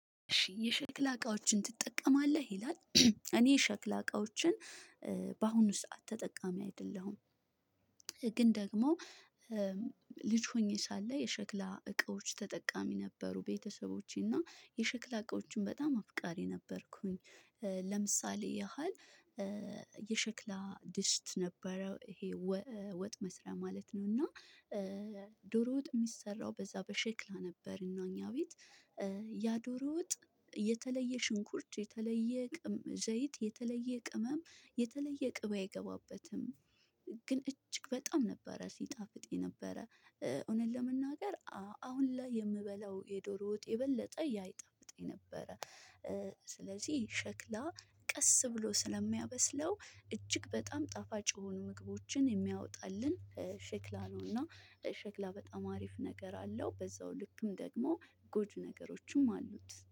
እሺ የሸክላ እቃዎችን ትጠቀማለህ ይላል? እኔ የሸክላ እቃዎችን በአሁኑ ሰዓት ተጠቃሚ አይደለሁም። ግን ደግሞ ልጅ ሆኜ ሳለ የሸክላ እቃዎች ተጠቃሚ ነበሩ ቤተሰቦቼ እና የሸክላ እቃዎችን በጣም አፍቃሪ ነበርኩኝ። ለምሳሌ ያህል የሸክላ ድስት ነበረው ይሄ ወጥ መስሪያ ማለት ነው። እና ዶሮ ወጥ የሚሰራው በዛ በሸክላ ነበር እና እኛ ቤት ያ ዶሮ ወጥ የተለየ ሽንኩርት የተለየ ቅም ዘይት የተለየ ቅመም የተለየ ቅቤ አይገባበትም። ግን እጅግ በጣም ነበር ሲጣፍጥ የነበረ እውነት ለመናገር አሁን ላይ የምበላው የዶሮ ወጥ የበለጠ ያህ ይጣፍጠኝ ነበረ። ስለዚህ ሸክላ ቀስ ብሎ ስለሚያበስለው እጅግ በጣም ጣፋጭ የሆኑ ምግቦችን የሚያወጣልን ሸክላ ነውና ሸክላ በጣም አሪፍ ነገር አለው። በዛው ልክም ደግሞ ጎጂ ነገሮችም አሉት